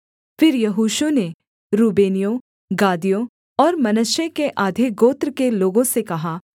फिर यहोशू ने रूबेनियों गादियों और मनश्शे के आधे गोत्र के लोगों से कहा